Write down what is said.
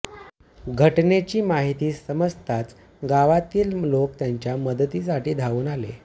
घटनेची माहिती समजताच गावातील लोक त्यांच्या मदतीसाठी धावून आले